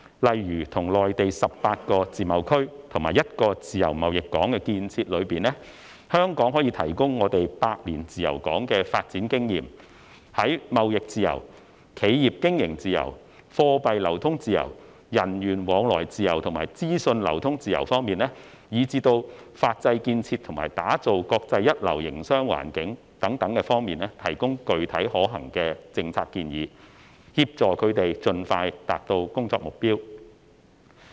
例如在內地18個自貿區和1個自由貿易港建設中，香港可提供百年自由港的發展經驗，在貿易自由、企業經營自由、貨幣流通自由、人員往來自由和資訊流通自由方面，以至法制建設和打造國際一流營商環境等方面提供具體可行的政策建議，協助他們盡快達到工作目標。